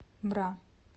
бра